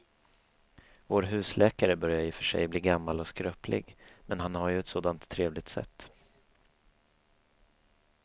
Vår husläkare börjar i och för sig bli gammal och skröplig, men han har ju ett sådant trevligt sätt!